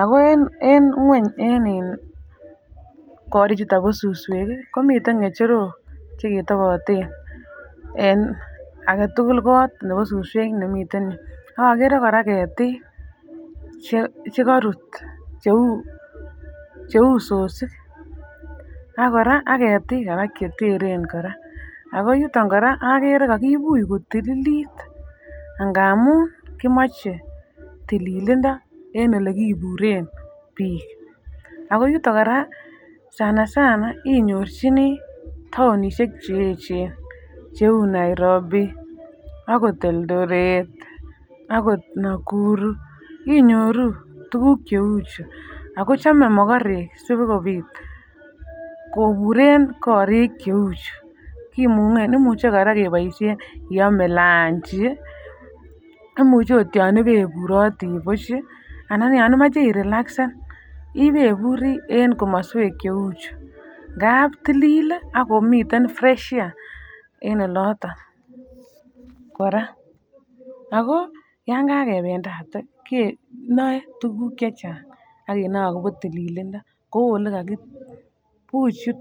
ako en ngweny en iin korik chuton bo suswek kii komiten ngecherok cheketoboten en agetukul kot nebo suswek nemiten yuu. AK okere Koraa ketik che chekorut cheu cheu sosik ak Koraa ak Ketik Koraa cheteren Koraa, ako yuton Koraa okere kokibuch kotililit angamun kimoche tililindo en olekiburen bik. Ako yuton Koraa sana sana inyorchinii townishek cheyechen cheu Nairobi ako Eldoret akot Nakuru inyoruu tukuk cheu chuu ako chome mokorek sikopit koburen korik cheu chuu kimungen. Imuche Koraa keboishen iome lunchi imuche ot yon ibeburoti buch chii ana ko yon imoche ih relaxsen ibeburii en komoswek cheu chuu ngapi tilil lii akomiten fresh air en oloton Koraa ako yon kakependate kenome tukuk che Chang ak kenyor akobo tililindo bkou Ile kokibuch yuton..